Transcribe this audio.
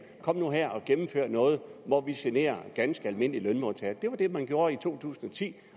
kom nu her og gennemfør noget hvor vi generer ganske almindelige lønmodtagere det var det man gjorde i to tusind og ti